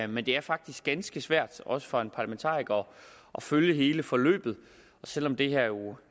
men det er faktisk ganske svært også for en parlamentariker at følge hele forløbet selv om det jo